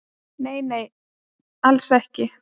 """Nei, nei, alls ekki."""